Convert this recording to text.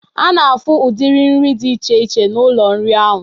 Ana afụ ụdiri nri dị iche iche n'ụlọ nri ahụ.